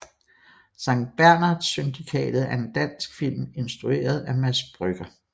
Sankt Bernhard Syndikatet er en dansk film instrueret af Mads Brügger